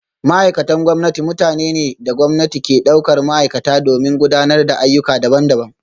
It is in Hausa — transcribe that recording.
Ma’aikatan gwamnati mutane ne da gwamnati ke daukar ma’aikata domin gudanar da ayyuka daban-daban